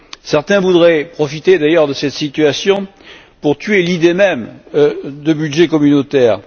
Certains voudraient profiter d'ailleurs de cette situation pour tuer l'idée même de budget communautaire.